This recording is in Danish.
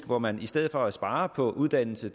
hvor man i stedet for at spare på uddannelse